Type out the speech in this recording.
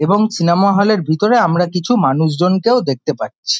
এবং cinema hall -এর ভিতরে আমরা কিছু মানুষজনকেও দেখতে পাচ্ছি।